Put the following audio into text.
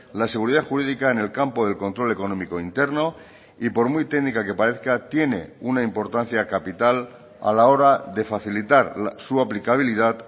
la seguridad jurídica en el campo del control económico interno y por muy técnica que parezca tiene una importancia capital a la hora de facilitar su aplicabilidad